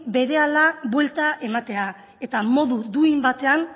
berehala buelta ematea eta modu duin batean